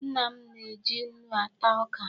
Nna m na-eji nnu ata oka.